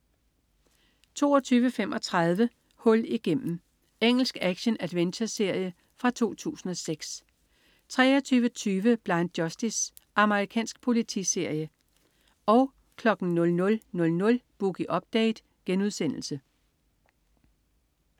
22.35 Hul igennem. Engelsk action-adventureserie fra 2006 23.20 Blind Justice. Amerikansk politiserie 00.00 Boogie Update*